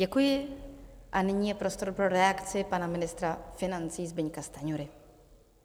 Děkuji a nyní je prostor pro reakci pana ministra financí Zbyňka Stanjury.